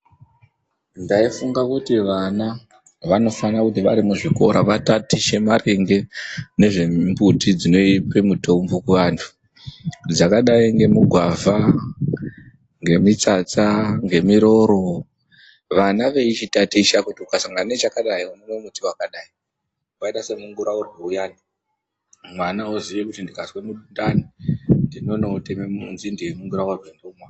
Ndaifunga kuti vana vanofanira kuti vari muzvikora vatatiche maringe nezvemumbuti dzinope mitombo kuvantu dzakadai, ngemugwavha ,ngemitsatsa, ngemiroro. Vana veichitaticha kuti ukasangana nechakadai unomwa mumbuti wakadai. Wakaita semunguraurwe uyani. Mwana oziya kuti ndikazwe mundani ndinondotema nzinde yemunguraurwe ndomwa.